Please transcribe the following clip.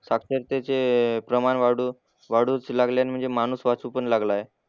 साक्षरतेचे प्रमाण वाढू वाढूच लागल्याने म्हणजे माणूस वाचू पण लागलाय.